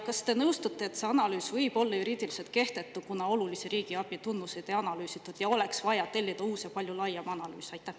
Kas te nõustute, et see analüüs võib olla juriidiliselt kehtetu, kuna olulisi riigiabi tunnuseid ei analüüsitud, ning oleks vaja tellida uus ja palju laiem analüüs?